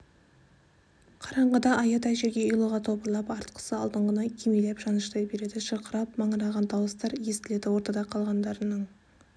қараңғыда аядай жерге ұйлыға топырлап артқысы алдыңғыны кимелеп жаныштай береді шырқырап маңыраған дауыстар естіледі ортада қалғандарының